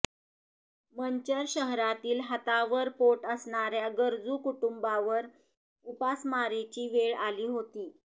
मंचर शहरातील हातावर पोट असणाऱ्या गरजू कुटुंबांवर उपासमारीची वेळ आली होती